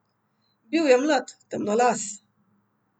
Bil je mlad, temnolas.